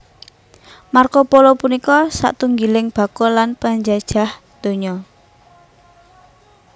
Marco Polo punika satunggiling bakul lan panjlajah donya